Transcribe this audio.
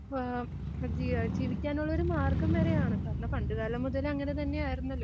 ആഹ് ആഹ ജീയാ, ജീവിക്കാനുള്ളോരു മാർഗ്ഗം വരെയാണ്. കാരണം, പണ്ട് കാലം മുതലേ അങ്ങനെ തന്നെ ആയിരുന്നല്ലോ?